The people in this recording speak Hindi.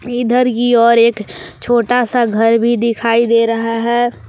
इधर की ओर एक छोटा सा घर भी दिखाई दे रहा है।